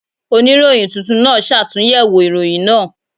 Oníròyìn tuntun náà ṣàtúnyẹ̀wò ìròyìn náà.